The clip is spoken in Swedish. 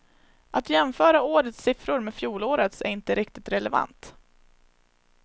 Att jämföra årets siffror med fjolårets är inte riktigt relevant.